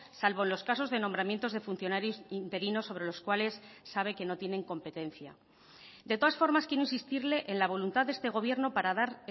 salvo los casos de nombramientos de funcionarios interinos sobre los cuales sabe que no tienen competencia de todas formas quiero insistirle en la voluntad de este gobierno para dar